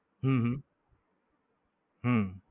હમ હમ હમ